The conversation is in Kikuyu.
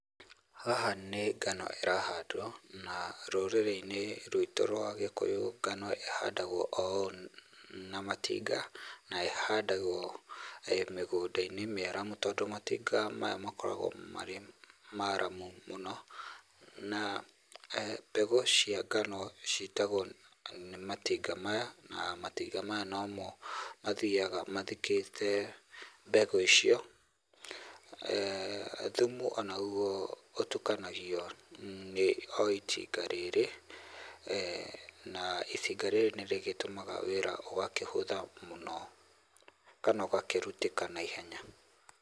Haha nĩ ngano ĩrahandwo na rũrĩrĩ-inĩ rwitũ rwa gĩkũyũ ngano ĩhandagwo o ũũ na matinga. Na ihandagwo mĩgũnda-inĩ mĩaramu tondũ matinga maya makoragwo marĩ maramu mũno na mbegũ cia ngano citagwo nĩ matinga maya na matinga maya no mo mathiyaga mathikĩte mbegũ icio. Thumu naguo ũtukanagio nĩ o itinga rĩrĩ, na itinga rĩrĩ rĩgĩtũmaga wĩra ũgakĩhũtha mũno kana ũgakĩrutĩkana naihenya.